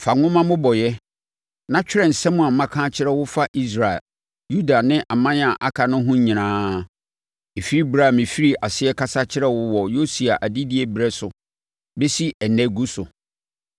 “Fa nwoma mmobɔeɛ, na twerɛ nsɛm a maka akyerɛ wo fa Israel, Yuda ne aman a aka no ho nyinaa, ɛfiri ɛberɛ a mefirii aseɛ kasa kyerɛɛ wo wɔ Yosia adedie berɛ so bɛsi ɛnnɛ gu so.